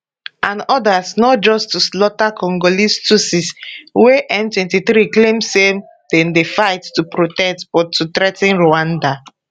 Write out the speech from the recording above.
and odas not just to slaughter congolese tutsis wey m23 claim say dem dey fight to protect but to threa ten rwanda